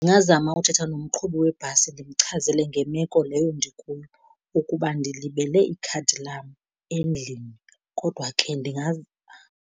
Ndingazama uthetha nomqhubi webhasi ndimchazele ngemeko leyo ndikuyo, ukuba ndilibele ikhadi lam endlini kodwa ke .